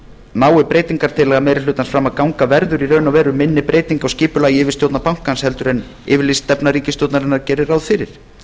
nái breytingartillaga meiri hlutans fram að ganga verður í raun og veru minni breyting á skipulagi yfirstjórnar bankans heldur en yfirlýst stefna ríkisstjórnarinnar gerir ráð fyrir